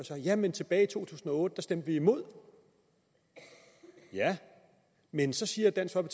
jamen tilbage i to tusind og otte stemte vi imod ja men så siger dansk